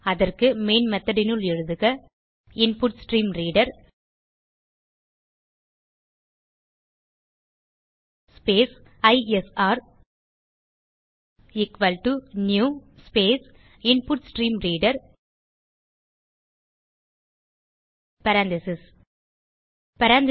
அதற்கு மெயின் methodனுள் எழுதுக input stream reader space I S R equal to new space input stream reader parentheses